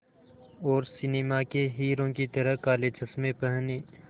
और सिनेमा के हीरो की तरह काले चश्मे पहने